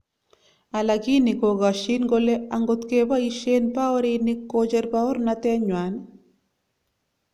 Alakini kokashin kole angot keboisien baorinik kocher baornatet nywany